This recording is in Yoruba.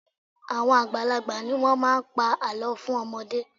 Àwọn àgbàlagbà ni wọ́n máa ń pa àlọ́ fún ọmọdé